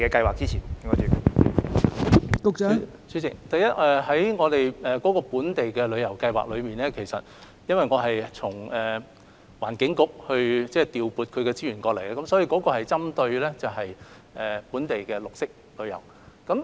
代理主席，首先，本地旅遊計劃是從環境局調撥資源過來，所以針對的是本地綠色旅遊的項目。